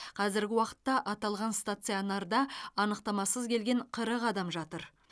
қазіргі уақытта аталған стационарда анықтамасыз келген қырық адам жатыр